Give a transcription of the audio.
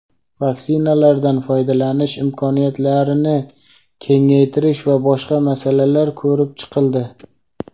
vaksinalardan foydalanish imkoniyatlarini kengaytirish va boshqa masalalar ko‘rib chiqildi.